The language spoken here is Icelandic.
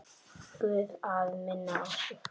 Guð að minna á sig.